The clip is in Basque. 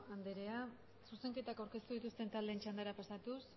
andrea zuzenketak aurkeztu dituzten taldeen txandara pasatuz